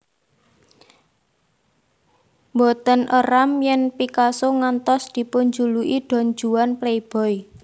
Mboten éram yèn Picasso ngantos dipunjuluki Don Juan playboy